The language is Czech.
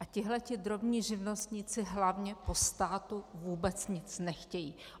A tihle drobní živnostníci hlavně po státu vůbec nic nechtějí.